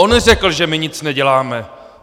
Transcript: On řekl, že my nic neděláme!